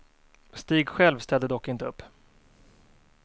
Stig själv ställde dock inte upp.